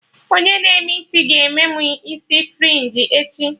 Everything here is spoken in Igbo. Onye na-eme isi ga-eme mụ isi frinji echi